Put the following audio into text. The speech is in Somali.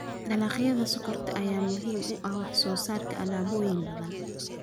Dalagyada sokorta ayaa muhiim u ah wax soo saarka alaabooyin badan.